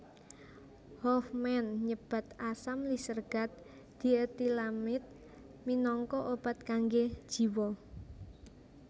Hofmann nyebat asam lisergat dietilamid minangka obat kanggé jiwa